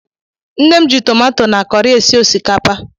Nne m ji tomato na kọrị esi osikapa.